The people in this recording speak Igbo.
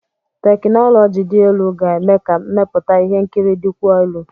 Tekinọloji dị elu ga-eme ka mmepụta ihe nkiri dịkwuo elu.